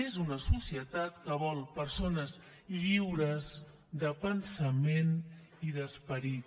és una societat que vol persones lliures de pensament i d’esperit